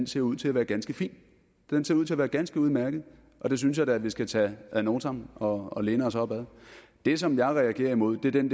ser ud til at være ganske fin den ser ud til at være ganske udmærket og det synes jeg da at vi skal tage ad notam og og læne os op ad det som jeg reagerer imod er den